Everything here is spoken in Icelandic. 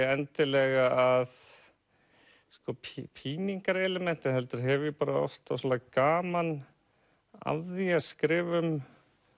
endilega píningarelement heldur hef ég oft ofsalega gaman af því að skrifa um